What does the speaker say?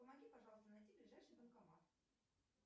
помоги пожалуйста найти ближайший банкомат